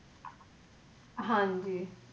ਹਾਂ ਜੀ।